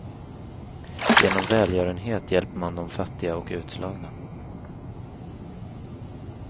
Genom välgörenhet hjälper man de fattiga och utslagna.